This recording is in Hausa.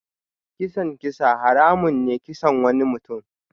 Kisan kisa haramun ne kisan wani mutum.